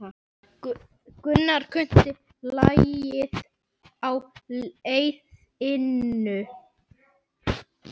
Gunnar kunni lagið á liðinu.